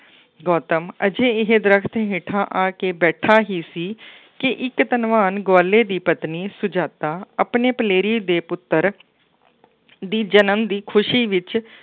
ਗੌਤਮ ਹਜੇ ਇਹ ਦਰੱਖਤ ਹੇਠਾਂ ਆ ਕੇ ਬੈਠਾ ਹੀ ਸੀ ਕਿ ਇੱਕ ਧੰਨਵਾਨ ਗਵਾਲੇ ਦੀ ਪਤਨੀ ਸੁਜਾਤਾ ਆਪਣੇ ਪਲੇਰੀ ਦੇ ਪੁੱਤਰ ਦੀ ਜਨਮ ਦੀ ਖੁਸ਼ੀ ਵਿੱਚ